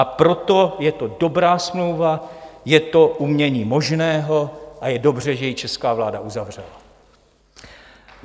A proto je to dobrá smlouva, je to umění možného a je dobře, že ji česká vláda uzavřela!